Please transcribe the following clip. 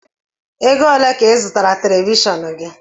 Ego ole ka I zụtara televishọọnu gị?